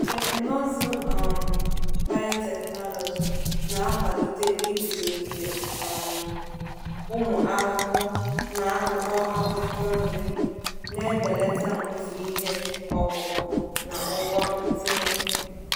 Teknụzụ um biotechnology na-akwalite iguzogide um ụmụ ahụhụ n’akpụkpọ akwụkwọ nri, na-ebelata mfu ihe ọkụkụ na ụgwọ ntinye.